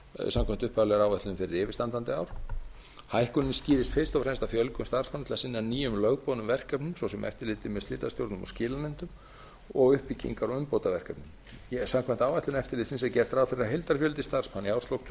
samkvæmt upphaflegri áætlun fyrir yfirstandandi ár hækkunin skýrist fyrst og fremst af fjölgun starfsmanna til að sinna nýjum lögboðnum verkefnum svo sem eftirliti með slitastjórnum og skilanefndum og uppbyggingu á umbótaverkefnum samkvæmt áætlun eftirlitsins er gert ráð fyrir að heildarfjöldi starfsmanna í árslok tvö